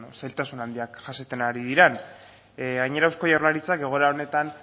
zailtasun handiak jasaten ari direla gainera eusko jaurlaritzak egoera honetan